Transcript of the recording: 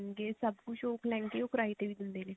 ਇਹ ਸਭ ਕੁਹ੍ਕ ਲਹਿੰਗੇ ਉਹ ਕਰਾਏ ਤੇ ਵੀ ਦਿੰਦੇ ਨੇ